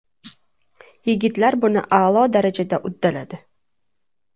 Yigitlar buni a’lo darajada uddaladi”.